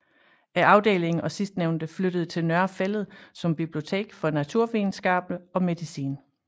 Afdeling og sidstnævnte flyttede til Nørre Fælled som bibliotek for naturvidenskaberne og medicin